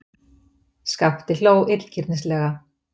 Skapti hló illgirnislega.